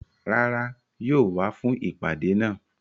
Rárá, yóò wá fún ìpàdé náà